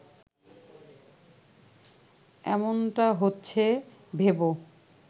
এমনটা হচ্ছে ভেব